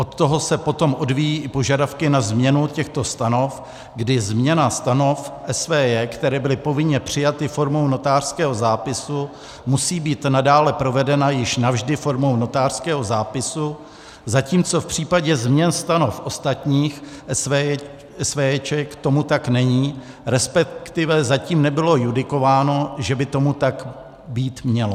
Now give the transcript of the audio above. Od toho se potom odvíjí i požadavky na změnu těchto stanov, kdy změna stanov SVJ, které byly povinně přijaty formou notářského zápisu, musí být nadále provedena již navždy formou notářského zápisu, zatímco v případě změn stanov ostatních SVJ tomu tak není, respektive zatím nebylo judikováno, že by tomu tak být mělo.